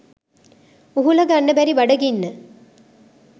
උහුලගන්න බැරි බඩගින්න